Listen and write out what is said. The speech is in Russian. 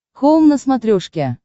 хоум на смотрешке